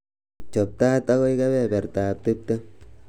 chob tait agoi kebebertab tiptem